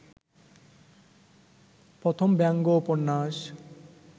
প্রথম ব্যঙ্গ উপন্যাস